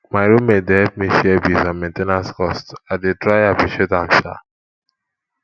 my roommate dey help me share bills and main ten ance cost i dey try appreciate am sha